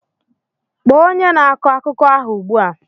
Kpọọ onye na-akọ akụkọ ahụ ugbu a!